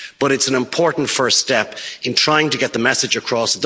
But it's an important first step in trying to get the message across.